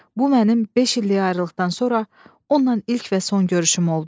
Bu mənim beş illik ayrılıqdan sonra onunla ilk və son görüşüm oldu.